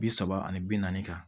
Bi saba ani bi naani kan